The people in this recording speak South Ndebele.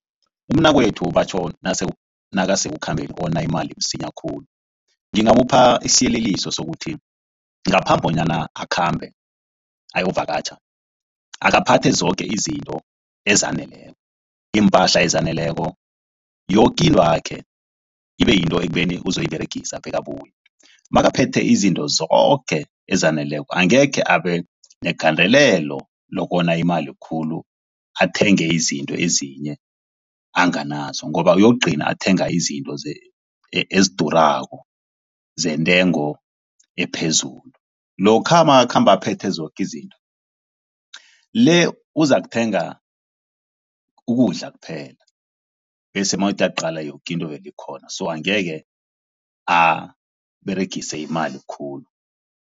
Umnakwethu batjho nakasekukhambeni wona imali msinya khulu. Ngingamupha isiyeleliso sokuthi ngaphambi kobana akhambe ayokuvakatjha. Akaphathe zoke izinto ezaneleko. Iimpahla ezaneleko, yoke into yakhe ibe yinto ekubeni uzoyiberegisa bekabuye. Nakaphethe izinto zoke ezaneleko, angekhe abe negandelelo lokona imali khulu athenge izinto ezinye anganazo ngoba yokugcina athenga izinto ezidurako, zentengo ephezulu. Lokha nakakhamba aphethe zoke izinto, le uzakuthenga ukudla kuphela bese mawuthi uyaqale zoke izinto vele zikhona. So angekhe aberegise imali khulu.